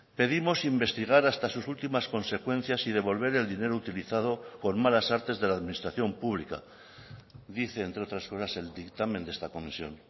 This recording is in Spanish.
pedimos investigar hasta sus últimas consecuencias y devolver el dinero utilizado con malas artes de la administración pública dice entre otras cosas el dictamen de esta comisión